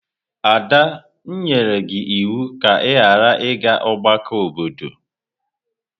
Ada, m nyere gi iwu ka i ghara iga ọgbakọ obodo!